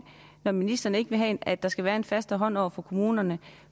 når ministeren ikke vil have at der skal være en fastere hånd over for kommunerne